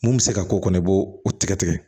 Mun bɛ se ka k'o kɔnɔ i b'o o tigɛ tigɛ